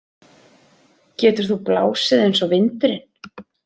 Getur þú blásið eins og vindurinn?